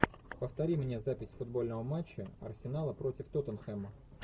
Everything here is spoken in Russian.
повтори мне запись футбольного матча арсенала против тоттенхэма